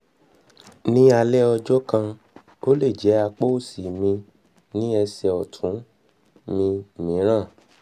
ní alẹ́ ọjọ́ kan ó lè jẹ́ apá òsì mi ní ẹsẹ̀ ọ̀tún mi mìíràn mìíràn